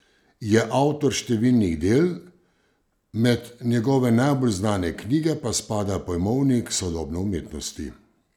Je avtor številnih del, med njegove najbolj znane knjige pa spada Pojmovnik sodobne umetnosti.